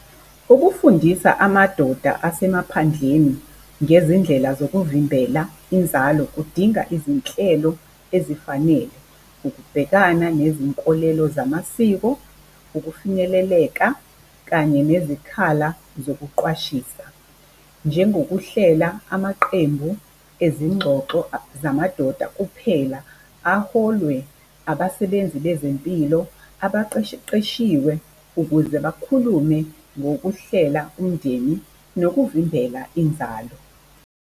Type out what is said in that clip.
Ukufundisa amadoda asemaphandleni ngezindlela zokuvimbela inzalo kudinga izinhlelo ezifanele, ukubhekana nezinkolelo zamasiko, ukufinyeleleka kanye nezikhala zokuqwashisa. Njengokuhlela amaqembu ezingxoxo zamadoda kuphela aholwe abasebenzi bezempilo abaqeqeshiwe ukuze bakhulume ngokuhlela umndeni nokuvimbela inzalo.